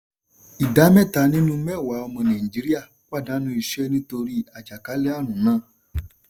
ìdá mẹ́ta nínú mẹ́wàá ọmọ nàìjíríà pàdánù iṣẹ́ nítorí àjàkálẹ̀ ààrùn náà.